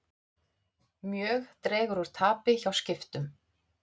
Mjög dregur úr tapi hjá Skiptum